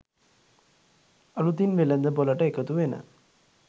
අලුතින් වෙළඳපළට එකතු වෙන